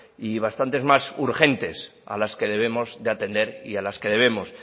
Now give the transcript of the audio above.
y bastante más urgentes a las que debemos atender y a las que debemos